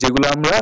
যেগুলো আমরা,